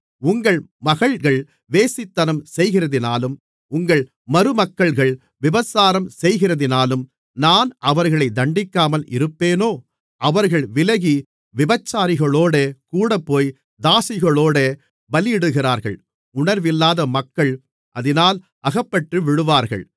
உங்கள் மகள்கள் வேசித்தனம் செய்கிறதினாலும் உங்கள் மருமக்கள்கள் விபசாரம் செய்கிறதினாலும் நான் அவர்களை தண்டிக்காமல் இருப்பேனோ அவர்கள் விலகி விபச்சாரிகளோடே கூடப்போய் தாசிகளோடே பலியிடுகிறார்கள் உணர்வில்லாத மக்கள் அதினால் அகப்பட்டு விழுவார்கள்